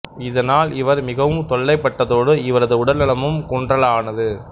இதனால் இவர் மிகவும் தொல்லை பட்டதோடு இவரது உடல்நலமும் குன்றலானது